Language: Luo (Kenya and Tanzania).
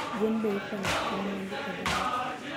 gwen b ikwano ka mwandu e dala